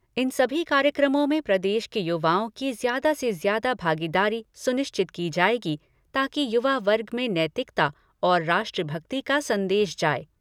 इन सभी कार्यक्रमों में प्रदेश के युवाओं की ज्यादा से ज्यादा भागीदारी सुनिश्चित की जाएगी ताकि युवा वर्ग में नैतिकता और राष्ट्र भक्ति का संदेश जाए।